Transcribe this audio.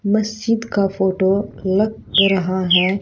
मस्जिद का फोटो लग रहा है।